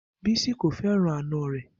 Bisi ko fẹran ana rẹ